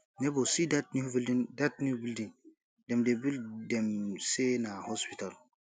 nebor see dat new building dat new building dem dey build dem say na hospital